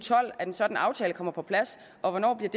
tolv at en sådan aftale kommer på plads og